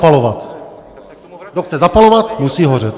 Kdo chce zapalovat, musí hořet.